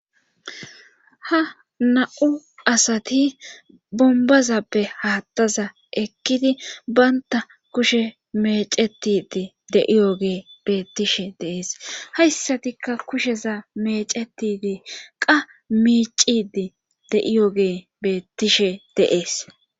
ha na7u asati bombazappe haattaza ekkidi baynta kushe mecetide de'iyoge beettishe deees hayssatikka kusheza mecetide qa miicidi de'iyoge beettishe de'ees